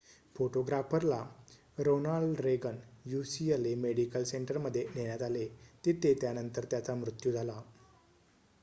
फोटोग्राफरला Ronald Reagan ucla medical सेंटरमध्ये नेण्यात आले तेथे त्यानंतर त्याचा मृत्यू झाला